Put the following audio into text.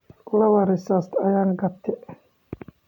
Lawo risit ayan katey.